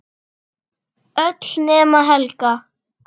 Öll nema Helga.